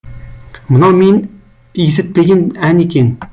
мынау мен есітпеген ән екен